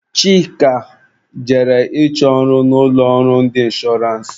Chika jere ịchọ ọrụ na ụlọ ọrụ ndị inshọrance.